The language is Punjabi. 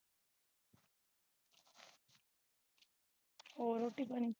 ਹੋਰ ਰੋਟੀ ਪਾਣੀ